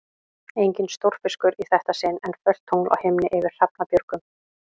Enginn stórfiskur í þetta sinn, en fölt tungl á himni yfir Hrafnabjörgum.